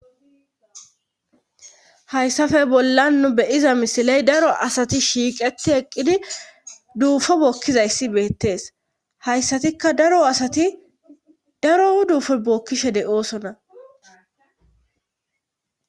Hayssafe bolla nu be'iza misiley daro asati shiiqeti eqqidi duufo bookkizayssi beettees hayssatikka daro asati daro duufo bookkishe de'oosona